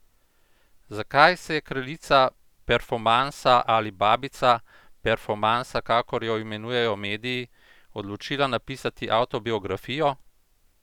Zakaj se je kraljica performansa ali babica performansa, kakor jo imenujejo mediji, odločila napisati avtobiografijo?